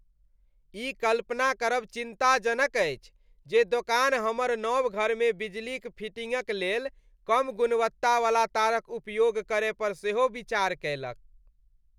ई कल्पना करब चिन्ताजनक अछि जे दोकान हमर नव घरमे बिजलीक फिटिंगक लेल कम गुणवत्तावला तारक उपयोग करय पर सेहो विचार कयलक।